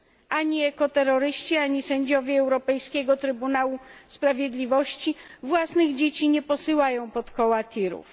Ani ekoterroryści, ani sędziowie Europejskiego Trybunału Sprawiedliwości własnych dzieci nie posyłają pod koła tirów.